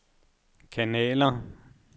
kanaler